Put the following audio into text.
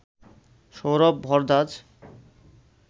Sourav Bhardwaj